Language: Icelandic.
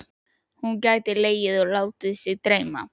Hún getur legið og látið sig dreyma.